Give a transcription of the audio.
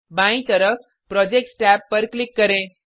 बायीं तरफ projects tab पर क्लिक करें